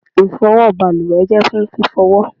ifowo baluwe je fún fifowo